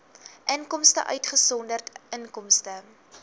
inkomste uitgesonderd inkomste